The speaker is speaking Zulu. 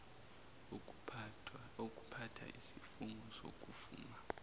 ukuphatha isifungo sokuvuma